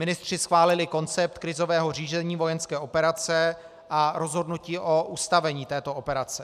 Ministři schválili koncept krizového řízení vojenské operace a rozhodnutí o ustavení této operace.